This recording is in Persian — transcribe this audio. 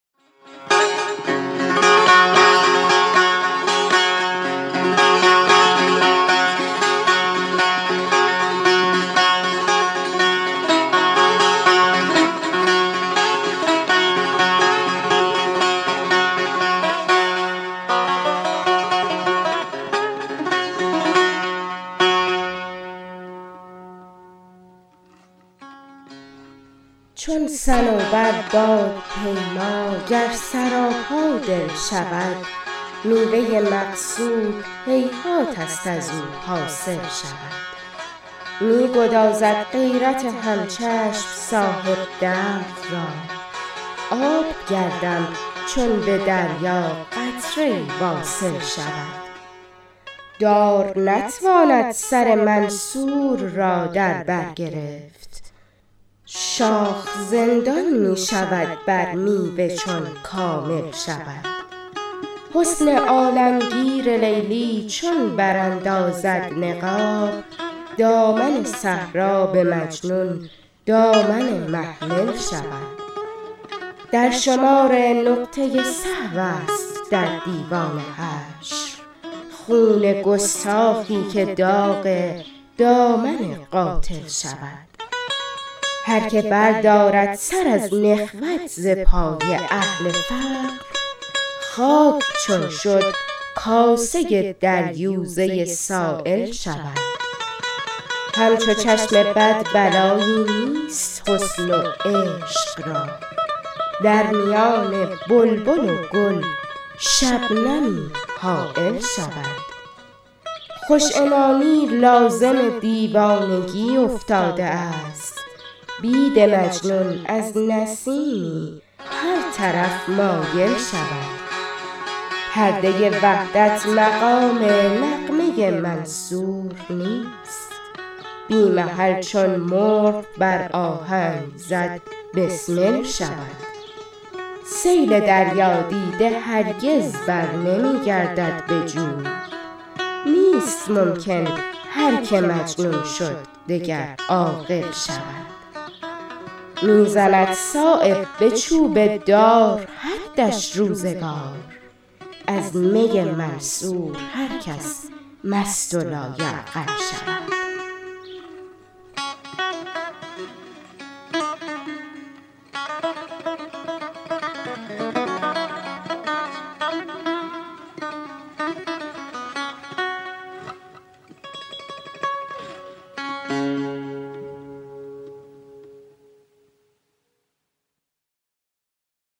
چون صنوبر بادپیما گر سراپا دل شود میوه مقصود هیهات است ازو حاصل شود می گدازد غیرت همچشم صاحب درد را آب گردم چون به دریا قطره ای واصل شود دار نتواند سر منصور را در بر گرفت شاخ زندان می شود بر میوه چون کامل شود حسن عالمگیر لیلی چون براندازد نقاب دامن صحرا به مجنون دامن محمل شود درشمار نقطه سهوست در دیوان حشر خون گستاخی که داغ دامن قاتل شود هر که بردارد سر از نخوت ز پای اهل فقر خاک چون شد کاسه در یوزه سایل شود همچو چشم بد بلایی نیست حسن و عشق را در میان بلبل و گل شبنمی حایل شود خوش عنانی لازم دیوانگی افتاده است بید مجنون از نسیمی هر طرف مایل شود پرده وحدت مقام نغمه منصور نیست بی محل چون مرغ بر آهنگ زد بسمل شود سیل دریا دیده هرگز برنمی گردد به جوی نیست ممکن هر که مجنون شد دگر عاقل شود می زند صایب به چوب دار حدش روزگار از می منصور هر کس مست و لایعقل شود